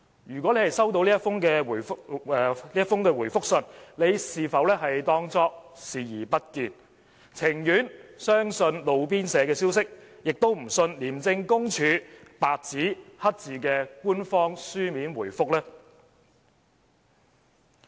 如果他已收到這封覆函，他是否當作視而不見，而情願相信"路邊社"消息，也不相信廉署白紙黑字的官方書面答覆呢？